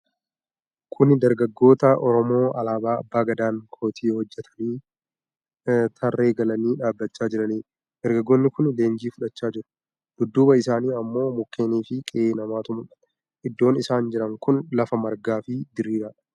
Kuni dargaggoota Oromoo alaabaa Abbaa Gadaan kootii hojjatatanii tarree galanii dhaabachaa jiranidha. Dargaggoonni kuni leenjii fudhachaa jiru. Dudduuba isaanii ammoo mukkeenii fi qe'ee namaatu mul'ata. Iddoon isaan jiran kun lafa margaa fi diriiradha.